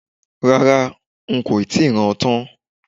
Rárá, n kò tíì rán an tán